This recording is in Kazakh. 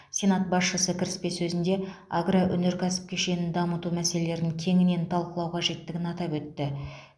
сенат басшысы кіріспе сөзінде агроөнеркәсіп кешенін дамыту мәселелерін кеңінен талқылау қажеттігін атап өтті